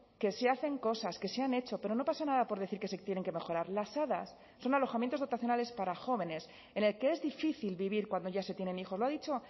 que se hacen cosas que se han hecho pero no pasa nada por decir que se tienen que mejorar las hadas son alojamientos dotacionales para jóvenes en el que es difícil vivir cuando ya se tienen hijos lo ha dicho